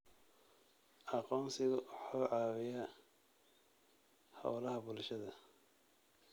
Aqoonsigu wuxuu caawiyaa hawlaha bulshada.